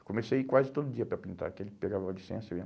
Eu comecei a ir quase todo dia para pintar, porque ele pegava licença né?